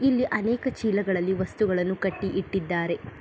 ಇಲ್ಲಿ ಅನೇಕ ಚೀಲಗಳಲ್ಲಿ ವಸ್ತುಗಳನ್ನು ಕಟ್ಟಿ ಇಟ್ಟಿದ್ದಾರೆ.